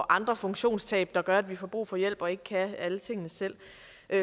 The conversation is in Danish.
andre funktionstab der gør at vi får brug for hjælp og ikke kan alle tingene selv